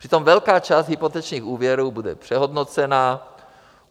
Přitom velká část hypotečních úvěrů bude přehodnocena.